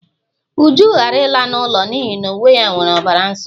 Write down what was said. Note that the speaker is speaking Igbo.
Uju ghara ịla n'ụlọ n'ihi na uwe ya nwere ọbara nsọ